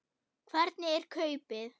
Hvernig er kaupið?